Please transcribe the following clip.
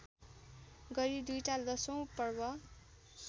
गरी दुईटा दशैँपर्व